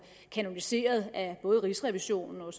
kanoniseret af både rigsrevisionen og